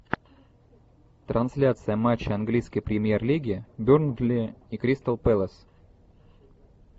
трансляция матча английской премьер лиги бернли и кристал пэлас